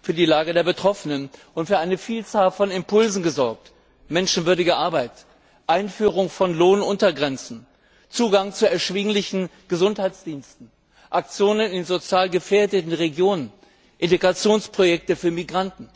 für die Lage der Betroffenen geschaffen und für eine Vielzahl von Impulsen gesorgt menschenwürdige Arbeit, Einführung von Lohnuntergrenzen, Zugang zu erschwinglichen Gesundheitsdiensten, Aktionen in sozial gefährdeten Regionen, Integrationsprojekte für Migranten.